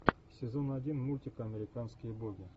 сезон один мультик американские боги